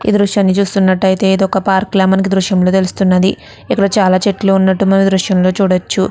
ఈ దృశ్యాన్ని చూస్తున్నట్లైతే ఇది ఒక పార్క్ లాగా మనకి ఈ దృశ్యం లో తెలుస్తున్నది ఇక్కడ చాల చెట్లు ఉన్నది మనం ఈ దృశ్యం లో చూడవచ్చు .